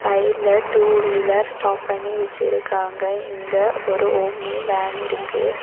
சைடுல two wheeler stop பண்ணி வெச்சிருக்காங்க இங்க ஒரு ஆம்னி வேன் இருக்கு.